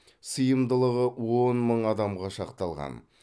сыйымдылығы он мың адамға шақталған